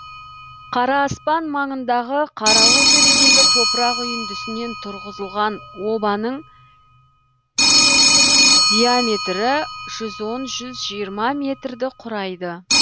қараспан маңындағы қарауылтөбедегі топырақ үйіндісінен тұрғызылған обаның диаметрі жүз он жүз жиырма метрді құрайды